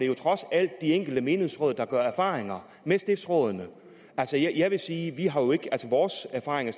jo trods alt de enkelte menighedsråd der gør sig erfaringer med stiftsrådene altså jeg vil sige at vores erfaringer